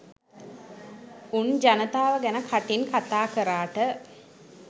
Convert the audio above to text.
උන් ජනතාව ගැන කටින් කතාකරාට